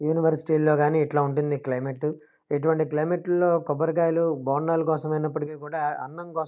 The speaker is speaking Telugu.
యూనివర్సిటీ లో గాని ఇట్లా ఉంటుంది క్లైమేట్ ఇటువంటి క్లైమేట్ లో కొబ్బరి కాయలు బొండాలు కోసం అయినప్పిటికి కూడా అన్నం కోసం --